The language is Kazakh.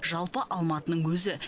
жалпы алматының өзі